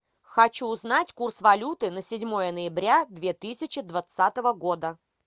хочу узнать курс валюты на седьмое ноября две тысячи двадцатого года